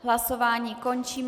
Hlasování končím.